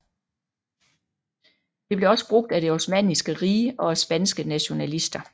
Det blev også brugt af det Osmanniske Rige og af spanske nationalister